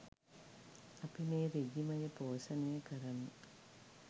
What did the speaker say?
අපි මේ රෙජීමය පෝෂණය කරමු